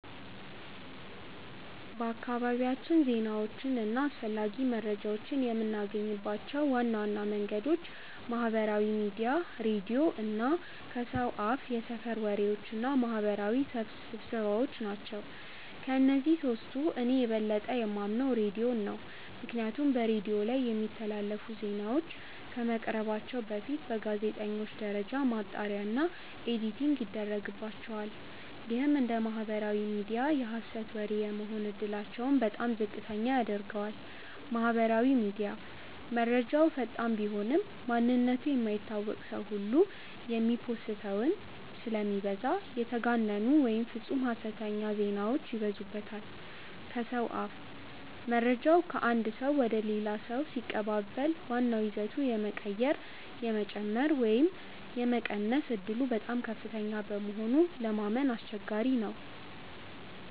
በአካባቢያችን ዜናዎችን እና አስፈላጊ መረጃዎችን የምናገኝባቸው ዋና ዋና መንገዶች ማህበራዊ ሚዲያ፣ ሬዲዮ እና ከሰው አፍየሰፈር ወሬዎች እና ማህበራዊ ስብሰባዎ ናቸው። ከእነዚህ ሶስቱ እኔ የበለጠ የማምነው ሬዲዮን ነው። ምክንያቱም በሬዲዮ ላይ የሚተላለፉ ዜናዎች ከመቅረባቸው በፊት በጋዜጠኞች ደረጃ ማጣሪያ እና ኤዲቲንግ ይደረግባቸዋል። ይህም እንደ ማህበራዊ ሚዲያ የሀሰት ወሬ የመሆን እድላቸውን በጣም ዝቅተኛ ያደርገዋል። ማህበራዊ ሚዲያ፦ መረጃው ፈጣን ቢሆንም፣ ማንነቱ የማይታወቅ ሰው ሁሉ የሚโพስተው ስለሚበዛ የተጋነኑ ወይም ፍፁም ሀሰተኛ ዜናዎች ይበዙበታል። ከሰው አፍ፦ መረጃው ከአንድ ሰው ወደ ሌላ ሰው ሲቀባበል ዋናው ይዘቱ የመቀየር፣ የመጨመር ወይም የመቀነስ ዕድሉ በጣም ከፍተኛ በመሆኑ ለማመን አስቸጋሪ ነው።